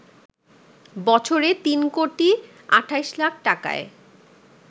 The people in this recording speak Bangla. বছরে তিন কোটি ২৮ লাখ টাকায়